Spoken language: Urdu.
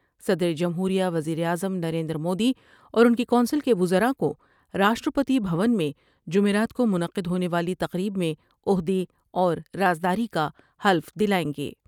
صدر جمہوریہ ، وزیر اعظم نریندر مودی اور ان کی کونسل کے وزراء کو راشٹر پتی بھون میں جمعرات کو منعقد ہونے والی تقریب میں عہدے اور راز داری کا حلف دلائیں گے ۔